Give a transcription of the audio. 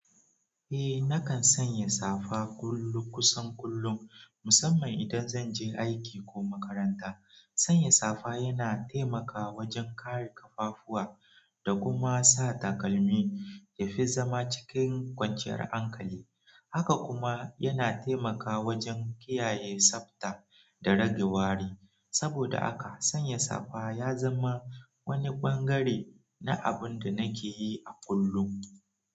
Eh, nakan sanya safa kullum kusan kullum, musamman idan zan je aiki ko makaranta. Sanya safa yana taimaka wajen kare ƙafafuwa da kuma sa takalmi yafi zama cikin kwanciyar hankali. Haka kuma yana taimaka wajen kiyaye tsabta da rage wari. Saboda haka sanya safa ya zama wani ɓangare na abun da nake yi a kullun.